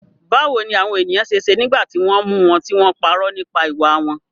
Báwo ni àwọn ènìyàn ṣe ṣe nígbà tí wọ́n mú wọn tí wọ́n parọ́ nípa ìwà wọn?